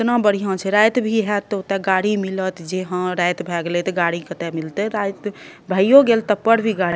केतना बढ़िया छै जे रात भी हेत ते ओता गाड़ी मिलत जे रात भाए गैले ते गाड़ी कता मिलते रात भयो गेल तब पर भी गाड़ी --